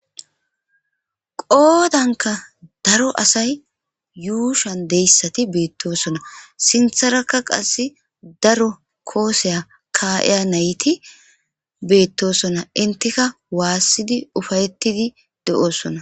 Qoodankka daro asay yuushuwan diyayissati beettosona. Sinttarakka qassi daro koossiya kaa7iya nayitti beettosona Enttikka waassidi, uffayttidi de7osona.